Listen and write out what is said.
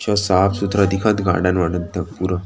अ साफ़- सुथरा दिखत गार्डन - वार्डन त पूरा --